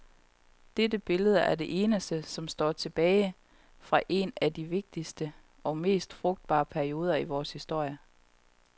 Dette billede er det eneste, som står tilbage fra en af de vigtigste og mest frugtbare perioder i vores historie.